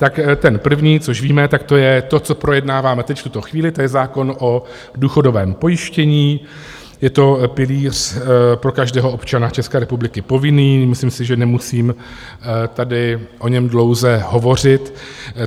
Tak ten první, což víme, tak to je to, co projednáváme teď v tuto chvíli, to je zákon o důchodovém pojištění, je to pilíř pro každého občana České republiky povinný, myslím si, že nemusím tady o něm dlouze hovořit.